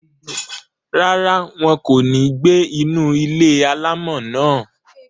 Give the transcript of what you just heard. Rárá, wọn kò ní gbé inú ilé-alámọ̀ náà